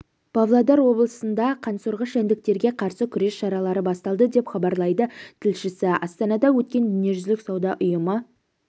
павлодар облысында қансорғыш жәндіктерге қарсы күрес шаралары басталды деп хабарлайды тілшісі астанада өткен дүниежүзілік сауда ұйымы